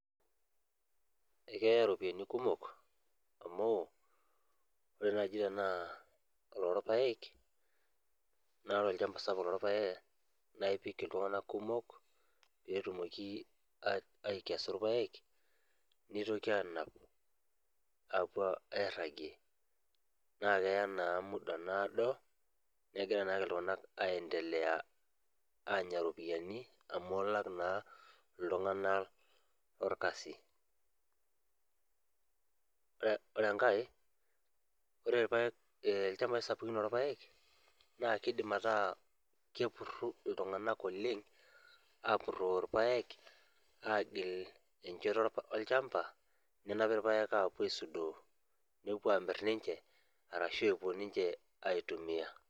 Akeya ropiyani kumok amu ore naji tana lorpaek na olchamba sapuk lorpaek na ipik kumok letumoki aikesu irpaek nitoki anap apuo airagie na keya na muda naado nakegira ake ltunganak aendelea anya iropiyiani amu ilak naa ltunganak lorkasi, ore enkae ore rpaek lchambai sapukin lorpaek na keidim ataa kepuri ltunganak oleng apuroo irpaek agil enchoto olchamba nenapi irpaek apuo aisudoo nepuo amir ninche arashu epuo aitumia.